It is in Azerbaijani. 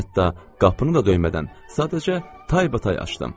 Hətta qapını da döymədən, sadəcə taybatay açdım.